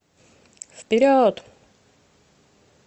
вперед